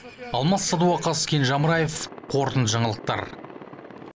алмас садуақас кенже амраев қорытынды жаңалықтар